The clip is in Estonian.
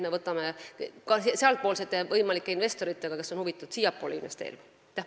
Me võtame ühendust ka sealsete võimalike investoritega, kes on huvitatud siiapoole investeerimisest.